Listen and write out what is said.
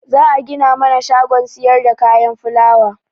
Za'a gina mana shagon siyarda kayan fulawa.